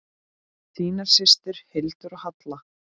Þínar systur, Hildur og Halla.